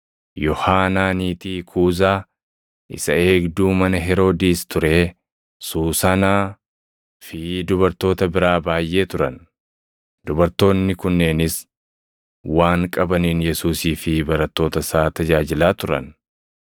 Yohaanaa niitii Kuuzaa isa eegduu mana Heroodis turee, Suusanaa fi dubartoota biraa baayʼee turan. Dubartoonni kunneenis waan qabaniin Yesuusii fi barattoota isaa tajaajilaa turan.